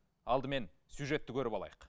алдымен сюжетті көріп алайық